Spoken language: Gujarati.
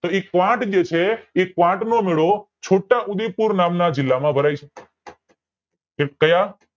તો એ ક્વોટ જે છે એ ક્વોટ નો મેળો છોટા ઉદેપુર નામના જીલા માં ભરાય છે